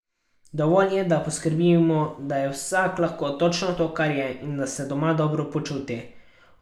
Dovolj je, da poskrbimo, da je vsak lahko točno to, kar je, in da se doma dobro počuti.